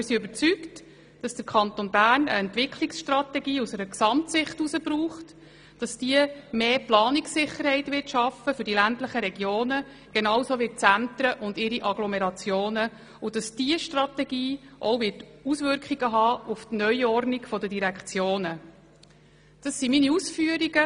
Wir sind überzeugt, dass der Kanton Bern eine Entwicklungsstrategie aus einer Gesamtsicht heraus braucht, damit mehr Planungssicherheit für die ländlichen Regionen ebenso wie für die Zentren und ihre Agglomerationen geschaffen wird und dass diese Strategie auch Auswirkungen auf die Neuordnung der Direktionen haben wird.